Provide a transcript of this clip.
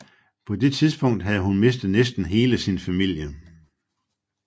På det tidspunkt havde hun mistet næsten hele sin familie